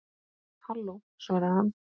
Halló, svaraði hann.